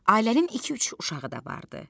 Ailənin iki-üç uşağı da vardı.